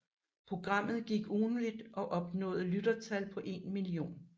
Programmet gik ugentligt og opnåede lyttertal på en million